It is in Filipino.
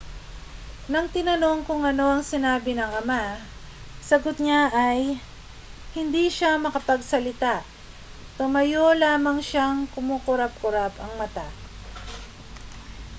nang tinanong kung ano ang sinabi ng ama sagot niya ay hindi siya makapagsalita tumayo lamang siyang kumukurap-kurap ang mata